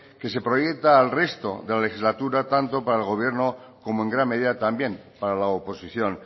que se proyecta al resto de la legislatura tanto para el gobierno como en gran medida también para la oposición